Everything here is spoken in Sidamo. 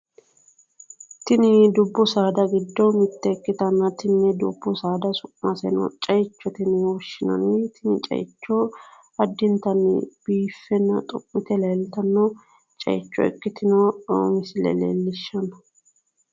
tini dubbu saada giddo mitte ikkitanna tini dubbu saada su'maseno ceichote yine woshshinanni tini ceicho addintanni biiffenna xummite leeltanno misile ikkitinota leellishshanno misileeti.